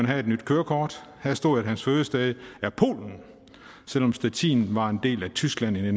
have et nyt kørekort her stod at hans fødested var polen selv om stettin var en del af tyskland i